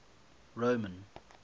roman